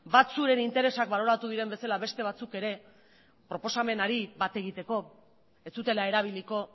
batzuen interesak baloratu diren bezala beste batzuk ere proposamenari bat egiteko ez zutela erabiliko